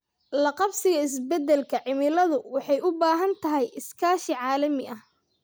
La qabsiga isbeddelka cimiladu waxay u baahan tahay iskaashi caalami ah.